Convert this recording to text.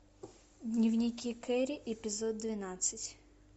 дневники керри эпизод двенадцать